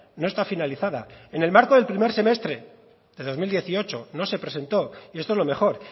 no está finalizada en el marco del primer semestre de dos mil dieciocho no se presentó y esto es lo mejor